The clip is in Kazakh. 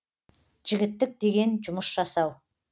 жігіттік деген жұмыс жасау